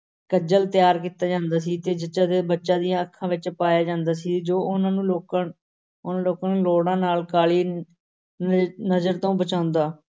ਕੱਜਲ ਤਿਆਰ ਕੀਤਾ ਜਾਂਦਾ ਸੀ ਤੇ ਜੱਚਾ ਤੇ ਬੱਚਾ ਦੀਆਂ ਅੱਖਾਂ ਵਿੱਚ ਪਾਇਆ ਜਾਂਦਾ ਸੀ, ਜੋ ਉਨ੍ਹਾਂ ਨੂੰ ਲੋਕਾਂ ਉਹਨਾਂ ਲੋਕਾਂ ਨੂੰ ਨਾਲ ਕਾਲੀ ਨ~ ਨਜ਼ਰ ਤੋਂ ਬਚਾਉਂਦਾ।